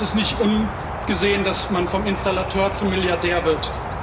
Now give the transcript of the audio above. Es ist nicht ungesehen, dass man vom Installateur zum Milliardär wird.